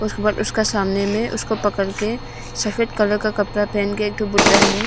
उसका सामने में उसको पकड़ के सफेद कलर का कपड़ा पहनकर बुड्ढा है।